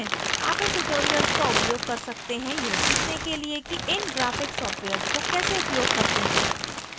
आप इन tutorials का उपयोग कर सकते हैं यह सीखने के लिए कि इन graphic सॉफ्टवेयर्स को कैसे उपयोग करते हैं